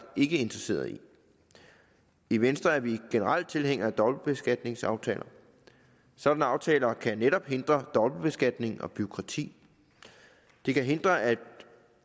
ikke interesseret i i venstre er vi generelt tilhængere af dobbeltbeskatningsaftaler sådanne aftaler kan netop hindre dobbeltbeskatning og bureaukrati de kan hindre at